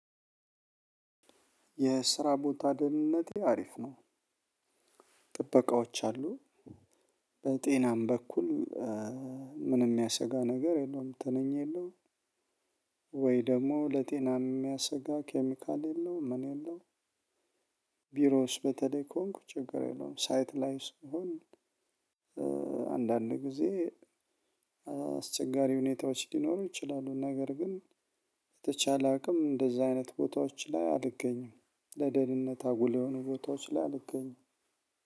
የስራ ቦታ ደህንነቴ አሪፍ ነው። ጥበቃዎች አሉ በጤናም በኩል ምንም የሚያሰጋ ነገር የለውም ትንኝ የለውም ወይ ደግሞ ለጤና የሚያሰጋ ኬሚካል የለውም ምን የለውም ቢሮ ውስጥ በተለይ ከሆንኩ ችግር የለውም። ሳይት ላይ ስሆን አንዳንድ ጊዜ አስቸጋሪ ሁኔታዎች ሊኖሩ ይችላሉ። ነገር ግን በተቻለ አቅም እንደዛ አይነት ቦታዎች ላይ አልገኝም። ለደህንነት አጉል የሆኑ ቦታዎች ላይ አልገኝም።